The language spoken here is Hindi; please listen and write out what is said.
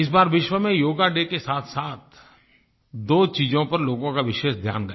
इस बार विश्व में योगा डे के साथसाथ दो चीज़ों पर लोगों का विशेष ध्यान गया